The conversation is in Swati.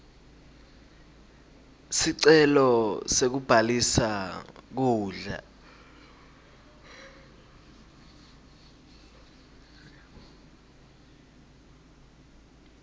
sicelo sekubhalisa kudla